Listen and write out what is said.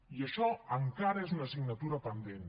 i això encara és una assignatura pendent